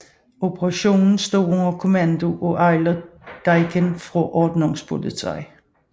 Operationen stod under kommando af Eilert Dieken fra Ordnungspolizei